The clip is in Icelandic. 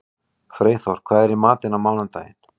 Freyþór, hvað er í matinn á mánudaginn?